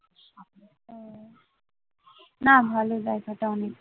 না ভালো জায়গাটা অনেক